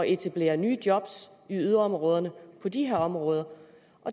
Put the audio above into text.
etablere nye job i yderområderne på de her områder